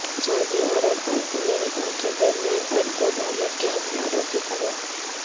سعودی عرب اور امریکہ کے درمیان اربوں ڈالر کے ہتھیاروں کی فروخت